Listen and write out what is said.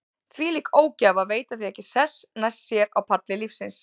Þvílík ógæfa að veita því ekki sess næst sér á palli lífsins.